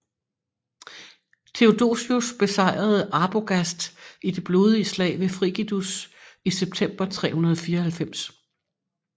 Theodosius besejrede Arbogast i det blodige slag ved Frigidus i september 394